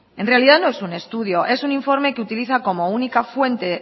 en realidad no es un estudio es un informe que utiliza como única fuente